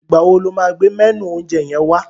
Ìgbà wo ló máa gbé mẹ́nù oúnjẹ yẹn wá?